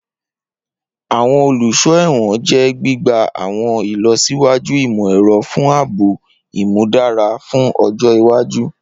Awọn oluso ẹwọn jẹ gbigba awọn ilọsiwaju imọ-ẹrọ fun aabo imudara fun ọjọ iwaju.